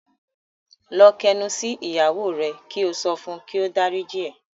Lọ k'ẹnu sí ìyàwó rẹ ki o sí sọfún ki o d'áríjì ẹ!